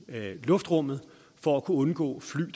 af luftrummet for at kunne undgå